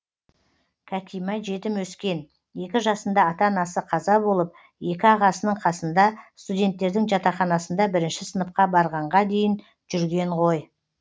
кәкима жетім өскен екі жасында ата анасы қаза болып екі ағасының қасында студенттердің жатақханасында бірінші сыныпқа барғанға дейін жүрген ғой